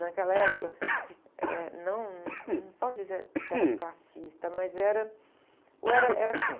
Naquela época, eh, não, não posso dizer que era classista, mas era, ou era, era assim.